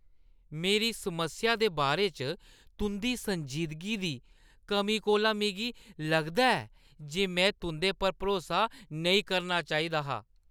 मेरी समस्या दे बारे च तुंʼदी संजीदगी दी कमी कोला मिगी लगदा ऐ जे में तुंʼदे पर भरोसा नेईं करना चाहिदा हा।